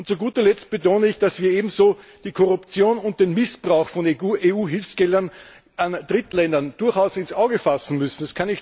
Und zu guter Letzt betone ich, dass wir ebenso die Korruption und den Missbrauch von EU Hilfsgeldern an Drittländer durchaus ins Visier nehmen müssen.